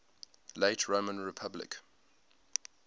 late roman republic